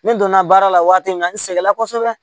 Ne donna baara la waati min na n sɛgɛnna kosɛbɛ